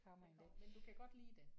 Det kommer men du kan godt lide det?